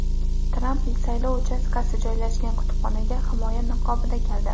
Tramp saylov uchastkasi joylashgan kutubxonaga himoya niqobida keldi.